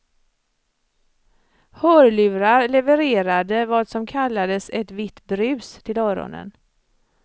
Hörlurar levererade vad som kallades ett vitt brus till öronen.